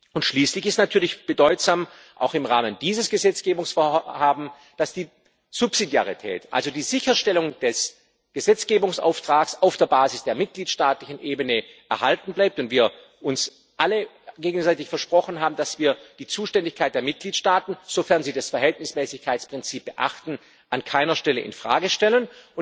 Und schließlich ist natürlich bedeutsam, auch im Rahmen dieses Gesetzgebungsvorhabens, dass die Subsidiarität, also die Sicherstellung des Gesetzgebungsauftrags auf der Basis der mitgliedstaatlichen Ebene, erhalten bleibt und wir uns alle gegenseitig versprochen haben, dass wir die Zuständigkeit der Mitgliedstaaten, sofern sie das Verhältnismäßigkeitsprinzip beachten, an keiner Stelle in Frage stellen.